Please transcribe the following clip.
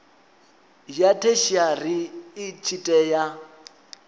ya theshiari i tshi tea